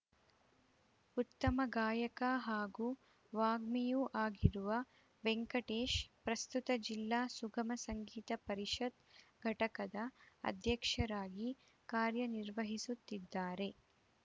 ಉತ್ತಮ ಗಾಯಕ ಹಾಗೂ ವಾಗ್ಮಿಯೂ ಆಗಿರುವ ವೆಂಕಟೇಶ್‌ ಪ್ರಸ್ತುತ ಜಿಲ್ಲಾ ಸುಗಮ ಸಂಗೀತ ಪರಿಷತ್‌ ಘಟಕದ ಅಧ್ಯಕ್ಷರಾಗಿ ಕಾರ್ಯ ನಿರ್ವಹಿಸುತ್ತಿದ್ದಾರೆ